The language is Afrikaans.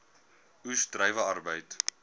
oes druiwe arbeid